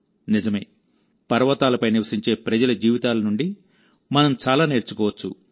నిజమేపర్వతాలపై నివసించే ప్రజల జీవితాల నుండి మనం చాలా నేర్చుకోవచ్చు